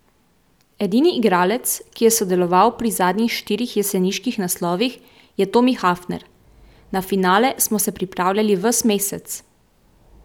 Edini igralec, ki je sodeloval pri zadnjih štirih jeseniških naslovih, je Tomi Hafner: "Na finale smo se pripravljali ves mesec.